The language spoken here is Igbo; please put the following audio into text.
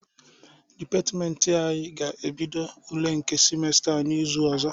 Dịpatịmentị anyị ga-ebido ule nke simesta a n'izu ọzọ.